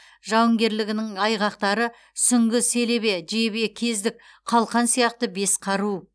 жауынгерлігінің айғақтары сүңгі селебе жебе кездік қалқан сияқты бес қару